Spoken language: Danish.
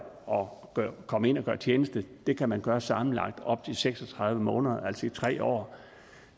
og komme ind og gøre tjeneste det kan man gøre sammenlagt i op til seks og tredive måneder altså i tre år